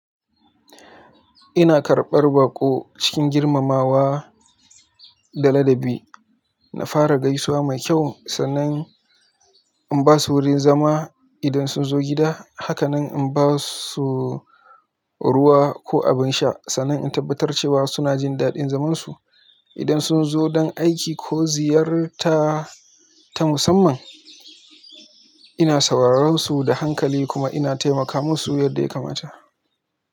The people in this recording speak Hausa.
Ina karɓar baƙo cikin girmamawa da ladabi. Na fara gaisuwa mai kyau sannan in ba su wurin zama idan sun zo gida. Hakanan in ba su ruwa ko abin sha sannan in tabbatar cewa suna jin daɗin zaman su. Idan sun zo don aiki ko ziyarta ta musamman, ina sauraron su da hankali kuma ina taimaka musu yadda ya kamata.